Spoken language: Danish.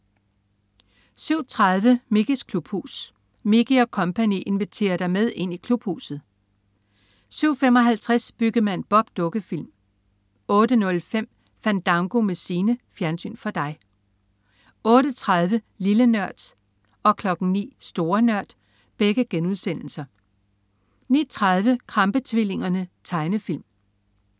07.30 Mickeys klubhus. Mickey og co. inviterer dig med ind i Klubhuset! 07.55 Byggemand Bob. Dukkefilm 08.05 Fandango med Signe. Fjernsyn for dig 08.30 Lille Nørd* 09.00 Store Nørd* 09.30 Krampe-tvillingerne. Tegnefilm